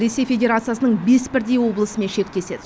ресей федерациясының бес бірдей облысымен шектеседі